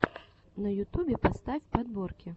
на ютубе поставь подборки